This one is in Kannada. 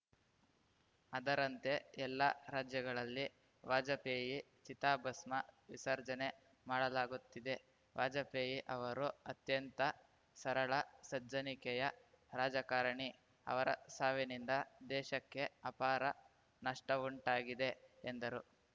ಅದರಂತೆ ಎಲ್ಲ ರಾಜ್ಯಗಳಲ್ಲಿ ವಾಜಪೇಯಿ ಚಿತಾಭಸ್ಮ ವಿಸರ್ಜನೆ ಮಾಡಲಾಗುತ್ತಿದೆ ವಾಜಪೇಯಿ ಅವರು ಅತ್ಯಂತ ಸರಳ ಸಜ್ಜನಿಕೆಯ ರಾಜಕಾರಣಿ ಅವರ ಸಾವಿನಿಂದ ದೇಶಕ್ಕೆ ಅಪಾರ ನಷ್ಟಉಂಟಾಗಿದೆ ಎಂದರು